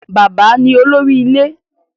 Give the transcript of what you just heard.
Bàbá ní olórí ilé